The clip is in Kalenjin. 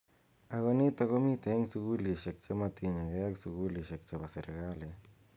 Ako nitok komitei eng sukulishek che matinye kei ak sukulishek chebo sirikalit.